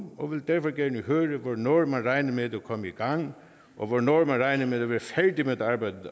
og vil derfor gerne høre hvornår man regner med at det kommer i gang og hvornår man regner med at være færdig med arbejdet